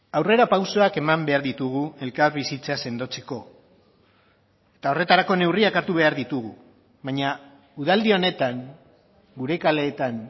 aurrerapausoak eman behar ditugu elkarbizitza sendotzeko eta horretarako neurriak hartu behar ditugu baina udaldi honetan gure kaleetan